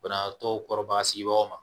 Banabaatɔ kɔrɔba sigibagaw ma